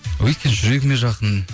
өйткені жүрегіме жақын